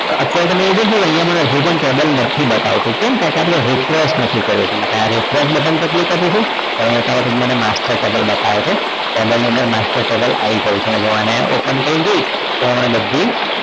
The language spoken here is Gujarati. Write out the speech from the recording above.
તો અત્યારે તમે જોશો કે જે પણ table નથી બતાવતું કેમ કે આપણે refresh નથી કર્યું એટલે એના માટે refresh button ઉપર click આપીશું તો હવે મને master table બતાવે છે table ની અંદર master table આવી ગયું છે જો આને open કરીને જોઈએ તો મને બધી જ